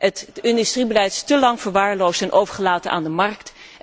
Het industriebeleid is te lang verwaarloosd en overgelaten aan de markt.